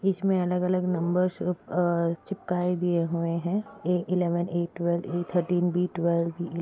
इस पे अलग अलग नम्बर्स चिपकाए दिए हुए है A eleven A twelve A thirteen B twelve.